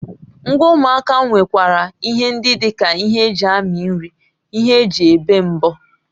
Ngwa ụmụaka nwekwara ihe ndị dị ka ihe eji amị nri, ihe eji ébè mbọ